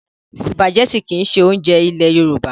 Sùpàgẹ́tì kìí ṣe oúnjẹ ilẹ̀ Yorùbá.